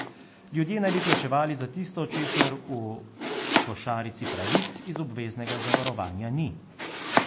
Ljudje naj bi plačevali za tisto, česar v košarici pravic iz obveznega zavarovanja ni.